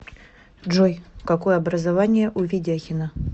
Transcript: джой какое образование у ведяхина